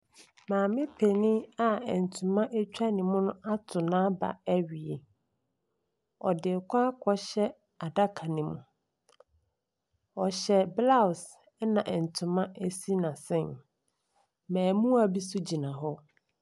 Maame panin a ntoma twa ne mu ato n'aba awie. Ɔde rekɔ akɔhyɛ adaka no mu. Ɔhyɛ blouse ɛnna ntoma si n'asen. Mmaamua bi nso gyina hɔ.